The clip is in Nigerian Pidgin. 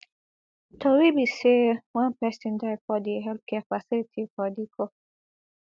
tori be say one pesin die for di healthcare facility for dikko